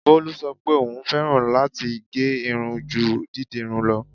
Bolú sọ pé òún fẹ́ràn láti gẹ́ irun ju dídirun lọ.